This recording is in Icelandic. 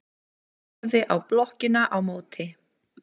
Horfði á blokkina á móti.